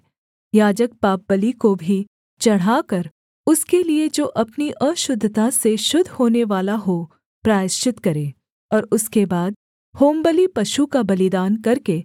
याजक पापबलि को भी चढ़ाकर उसके लिये जो अपनी अशुद्धता से शुद्ध होनेवाला हो प्रायश्चित करे और उसके बाद होमबलि पशु का बलिदान करके